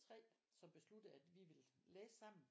Tre som besluttede at vi ville læse sammen